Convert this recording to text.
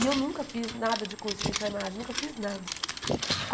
E eu nunca fiz nada de curso de enfermagem, nunca fiz nada.